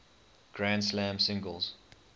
grand slam singles